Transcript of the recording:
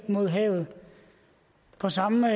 mod havet på samme